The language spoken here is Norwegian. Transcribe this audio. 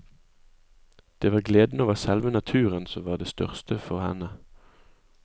Det var gleden over selve naturen som var det største for henne.